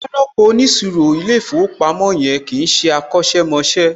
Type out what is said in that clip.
Wọn á rọ́pò óniṣirò ilé ìfowópamọ́ yẹn, kìí ṣé akọ̀sẹ̀ mọṣẹ́